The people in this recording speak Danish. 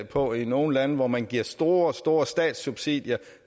på i nogle lande hvor man giver store store statssubsidier